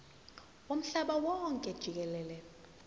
womhlaba wonke jikelele